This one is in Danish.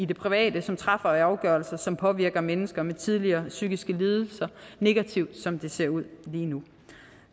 det private som træffer afgørelser som påvirker mennesker med tidligere psykiske lidelser negativt som det ser ud lige nu